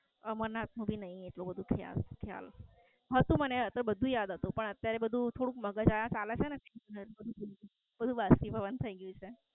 અમરનાથ નું ભી નઈ એટલું બધું ખ્યાલ. હતું મને બધું યાદ હતું પણ અત્યારે બધું થોડુંક મગજ આયા ચાલે છેને બધું બાષ્પીભવન થઈ ગયું છે